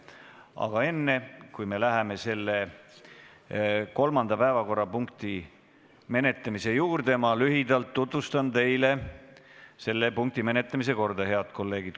Aga enne, kui me läheme kolmanda päevakorrapunkti menetlemise juurde, ma lühidalt tutvustan teile selle punkti menetlemise korda, head kolleegid.